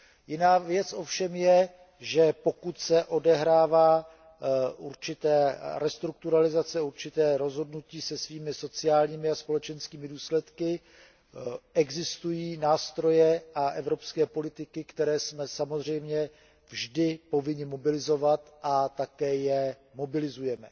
Jiná věc ovšem je, že pokud se odehrává určitá restrukturalizace, určité rozhodnutí se svými sociálními a společenskými důsledky, existují nástroje a evropské politiky, které jsme samozřejmě vždy povinni mobilizovat a také je mobilizujeme.